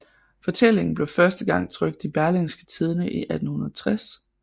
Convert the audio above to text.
Fortællingen blev første gang trykt i Berlingske Tidende i 1860